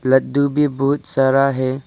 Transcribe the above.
लड्डू भी बहुत सारा है।